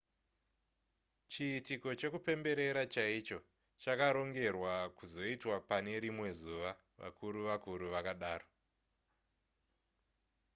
chiitiko chekupemberera chaicho chakarongerwa kuzoitwa pane rimwe zuva vakuru-vakuru vakadaro